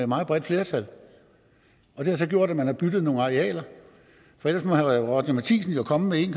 meget bredt flertal og det har så gjort at man har byttet nogle arealer for ellers må herre roger courage matthisen jo komme med en